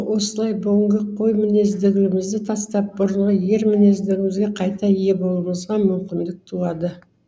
осылай бүгінгі қой мінезділігімізді тастап бұрынғы ер мінезділігімізге қайта ие болуымызға мүмкіндік туады